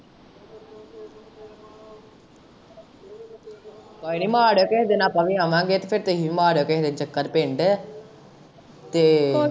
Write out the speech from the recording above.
ਕੋਈ ਨੀ ਮਾਰੀਓ ਕੇਹੇ ਦਿਨ ਆਪਾਂ ਵੀ ਆਵਾਂਗੇ ਤੇ ਫੇਰ ਤੂੰ ਹੀ ਵੀ ਮਾਰਿਓ ਚੱਕਰ ਪਿੰਡ ਤੇ।